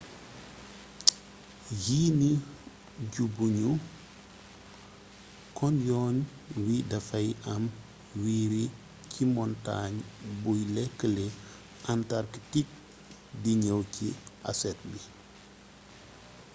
yii nii ju bu ñu kon yoon wi dafay am wiiri ci montaañ buy lëkkële antarktik di ñëw ci asset bi